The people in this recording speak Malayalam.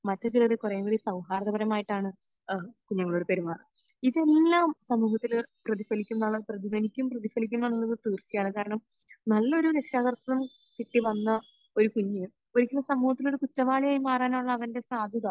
മറ്റു ചിലർ കുറേക്കൂടി സൗഹാർദപരമായിട്ടാണ് എഹ് കുഞ്ഞുങ്ങളോട് പെരുമാറുന്നത്. ഇതെല്ലാം സമൂഹത്തിൽ പ്രതിഫലിക്കുന്ന പ്രതിഫലിക്കും. പ്രതിഫലിക്കുമെന്നുള്ളത് തീർച്ചയാണ്. കാരണം നല്ലൊരു രക്ഷകർത്താവിനെ കിട്ടി വന്ന ഒരു കുഞ്ഞ് ഒരിക്കലും സമൂഹത്തിന് ഒരു കുറ്റവാളിയായി മാറാൻ ഉള്ള അവന്റെ സാധ്യത